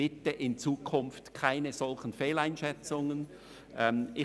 Bitte in Zukunft keine solchen Fehleinschätzungen mehr!